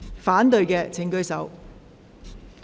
反對的請舉手。